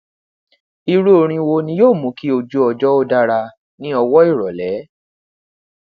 iru orin wo ni yoo mu ki ojuọjọ o dara ni ọwọ irọlẹ